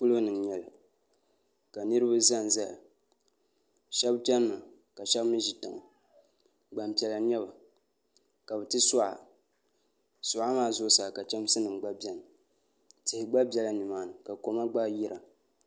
Polo ni n nyɛli ka niriba zanzaya shɛb channa ka shɛb mi ʒi tiŋa Gbampiɛla n nyɛ ba ka bɛ ti suɣa suɣa maa zuɣusaa ka chɛmsinima gba beni tihi gba bela nimaani ka koma gba yira